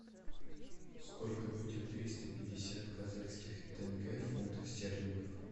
сколько будет триста пятьдесят казахских тенге в фунтах стерлингов